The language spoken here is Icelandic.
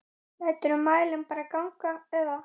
Læturðu mælinn bara ganga eða?